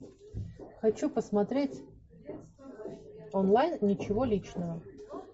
хочу посмотреть онлайн ничего личного